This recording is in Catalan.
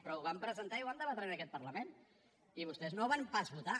però ho vam presentar i ho vam debatre en aquest parlament i vostès no ho van pas votar